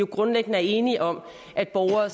grundlæggende er enige om at borgere